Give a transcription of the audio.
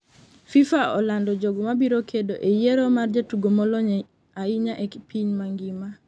FIFA olando jogo mabiro kedo e yiero mar jatugo molony hinya e piny mangima